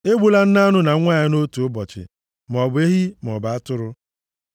Egbula nne anụ na nwa ya nʼotu ụbọchị, maọbụ ehi maọbụ atụrụ. + 22:28 \+xt Dit 22:6-7\+xt*